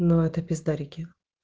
но это пиздарики